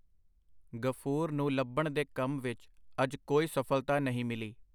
ਗ਼ਫੂਰ ਨੂੰ ਲੱਭਣ ਦੇ ਕੰਮ ਵਿੱਚ ਅੱਜ ਕੋਈ ਸਫ਼ਲਤਾ ਨਹੀਂ ਮਿਲੀ.